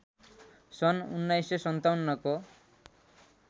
सन् १९५७ को